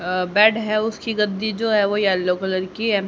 अ bed है उसकी गद्दी जो है वो येलो कलर की है।